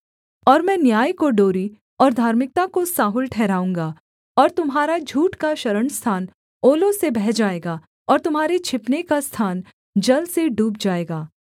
और मैं न्याय को डोरी और धार्मिकता को साहुल ठहराऊँगा और तुम्हारा झूठ का शरणस्थान ओलों से बह जाएगा और तुम्हारे छिपने का स्थान जल से डूब जाएगा